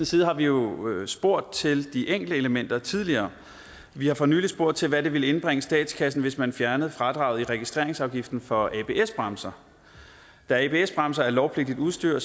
side har vi jo spurgt til de enkelte elementer tidligere vi har for nylig spurgt til hvad det ville indbringe statskassen hvis man fjernede fradraget i registreringsafgiften for abs bremser da abs bremser er lovpligtigt udstyr